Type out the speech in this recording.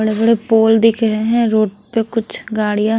बड़े-बड़े पोल दिख रहे हैं रोड पे कुछ गाड़ियाँ--